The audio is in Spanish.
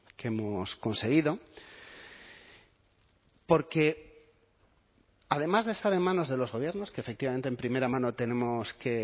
que hemos conseguido porque además de estar en manos de los gobiernos que efectivamente en primera mano tenemos que